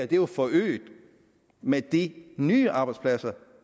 bliver forøget med de nye arbejdspladser